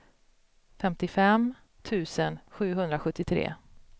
femtiofem tusen sjuhundrasjuttiotre